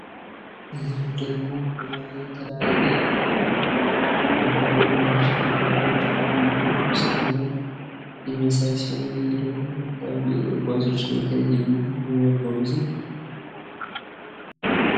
ይህ ደግሞ የተለያየ መጓጓዣ እና ተሽከርካሪዎች ባንድላይ ቤት ውስጥ ሁነው የሚያሳይ ሲሆን የተለያዩ ጉዞችን ነው የሚያጓጉዘው።